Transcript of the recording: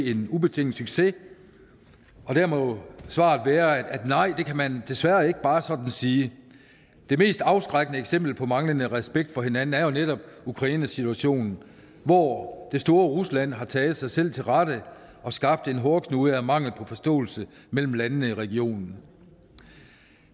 en ubetinget succes der må svaret være at nej det kan man desværre ikke bare sådan sige det mest afskrækkende eksempel på manglende respekt for hinanden er jo netop ukrainesituationen hvor det store rusland har taget sig selv til rette og skabt en hårdknude af mangel på forståelse mellem landene i regionen